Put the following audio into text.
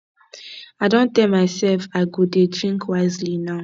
i don tell myself say i go dey drink wisely now